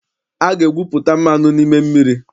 A ga-egwupụta mmanụ n'ime mmiri.